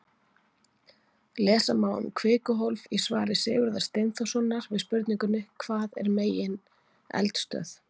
Lesa má um kvikuhólf í svari Sigurðar Steinþórssonar við spurningunni Hvað er megineldstöð?